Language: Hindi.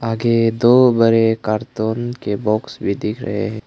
आगे दो बड़े कार्टून के बॉक्स भी दिख रहे है।